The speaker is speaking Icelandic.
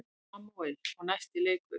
Samúel: Og næsti leikur.